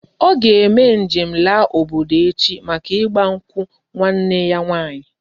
O ga eme njem la obodo echi maka igba nkwu nwanne ya nwanyi